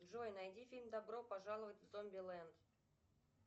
джой найди фильм добро пожаловать в зомбиленд